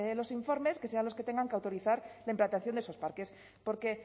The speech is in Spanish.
los informes que sean los que tengan que autorizar la implantación de esos parques porque